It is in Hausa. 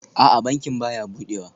A'a, bankin baya budewa